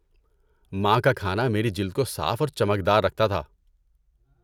ماں کا کھانا میری جلد کو صاف اور چمکدار رکھتا تھا۔